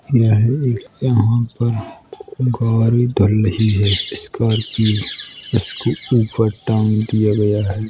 यह एक यहाँ पर गाड़ी धुल रही हैस्कॉर्पिओ इसको ऊपर टांग दिया गया है।